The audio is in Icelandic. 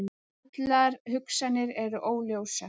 Allar hugsanir eru óljósar.